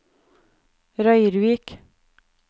Røyrvik